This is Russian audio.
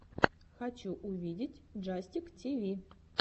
хочу увидеть джастик тиви